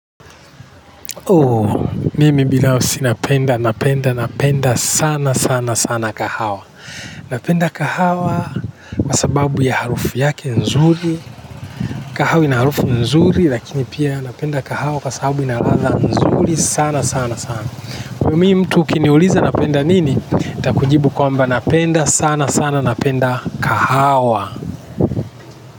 Oh, mimi binafsi napenda, napenda, napenda sana, sana, sana kahawa napenda kahawa kwa sababu ya harufu yake nzuri kahawa ina harufu nzuri lakini pia napenda kahawa kwa sababu ina ladha nzuri sana sana sana kwa hivyo mimi mtu ukiniuliza napenda nini nitakujibu kwamba napenda sana sana napenda kahawa.